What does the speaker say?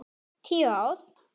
Tíu ár?